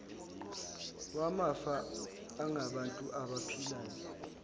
wamafa angabantu abaphilayo